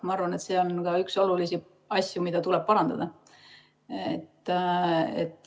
Ma arvan, et see on ka üks olulisi asju, mida tuleb parandada.